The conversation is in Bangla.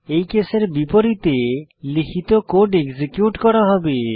এই কেসের বিপরীতে লিখিত কোড এক্সিকিউট করা হবে